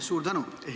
Suur tänu!